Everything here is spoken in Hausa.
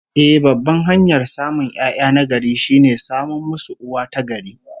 Eh, babban hanyar samun 'ya'ya na gari, shine samun musu uwa ta gari